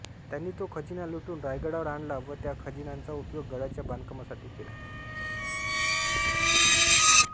त्यांनी तो खजिना लुटून रायगडावर आणला व त्या खजिन्याचा उपयोग गडाच्या बांधकामासाठी केला